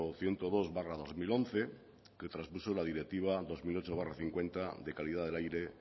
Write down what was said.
ciento dos barra dos mil once que traspuso la directiva doscientos ocho barra cincuenta de calidad del aire